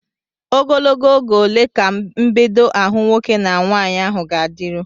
Ogologo oge ole ka mbedo ahụ nwoke na nwaanyị ahụ ga-adịru?